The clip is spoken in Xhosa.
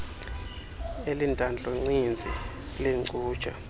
elintantlu ninzi leencutshe